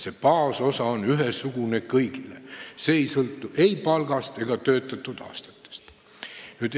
See baasosa on ühesugune kõigile, see ei sõltu ei palgast ega töötatud aastate arvust.